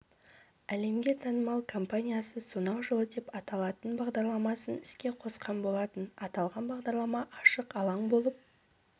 әлемге танымал компаниясы сонау жылы деп аталатын бағдарламасын іске қосқан болатын аталған бағдарлама ашық алаң болып